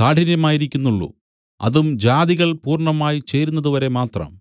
കാഠിന്യമായിരിക്കുന്നുള്ളു അതും ജാതികൾ പൂർണ്ണമായി ചേരുന്നതുവരെമാത്രം